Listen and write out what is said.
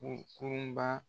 Ko kurun ba